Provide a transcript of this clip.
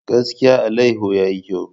Gaskiya! alayyahu yayi kyau.